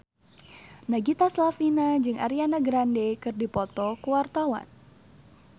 Nagita Slavina jeung Ariana Grande keur dipoto ku wartawan